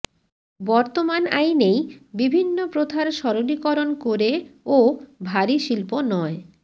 বর্তমান আইনেই বিভিন্ন প্রথার সরলীকরণ করে ও ভারী শিল্প নয়